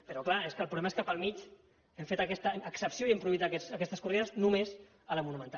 però clar és que el problema és que pel mig hem fet aquesta excepció i hem prohibit aquestes corrides només a la monumental